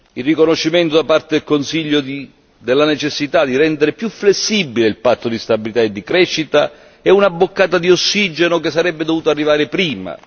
Il riconoscimento da parte del Consiglio della necessità di rendere più flessibile il patto di stabilità e di crescita è una boccata di ossigeno che sarebbe dovuta arrivare prima.